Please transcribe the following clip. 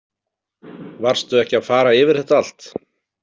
Varstu ekki að fara yfir þetta allt?